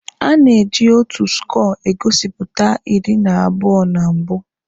A na-eji otu skọọ egosipụta iri na abụọ na mbụ.